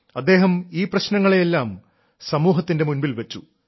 അദ്ദേഹം ഈ പ്രശ്നങ്ങളെയെല്ലാം സമൂഹത്തിന്റെ മുൻപിൽ വെച്ചു